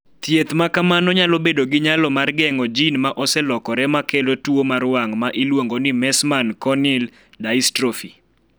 Thieth ma kamano nyalo bedo gi nyalo mar geng�o jin ma oselokore ma kelo tuo mar wang� ma iluongo ni Meesman corneal dystrophy..